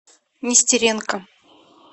нестеренко